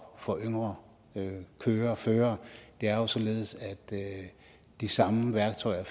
for yngre yngre førere det er jo således at de samme værktøjer